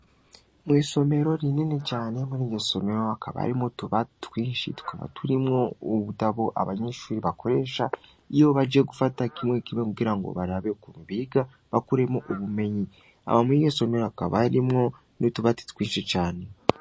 Mw'isomero rinini canemwo ni jyo somero akabarimwo tubai twinshi twaba turimwo ubudabo abanyinshuri bakoresha iyo baje gufata kimwe kimwe kugira ngo barabe ku mbiga bakuremo ubumenyi aba mwige somero akabarimwo n'utubati twinshi cane.